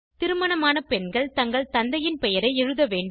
திருமணமான பெண்கள் தங்கள் தந்தையின் பெயரை எழுத வேண்டும்